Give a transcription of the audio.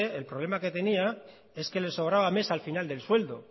el problema que tenía es que le sobraba mes al final del sueldo